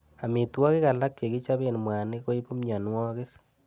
Amitwogik alak chekichape mwanik koibu mianwogik.